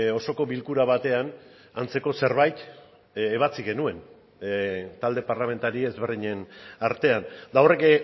osoko bilkura batean antzeko zerbait ebatzi genuen talde parlamentari ezberdinen artean eta horrek